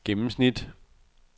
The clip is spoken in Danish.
gennemsnit